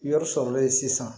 Yɔrɔ sɔrɔlen sisan